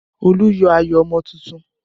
Olu yọ ayọ̀ ọmọ tuntun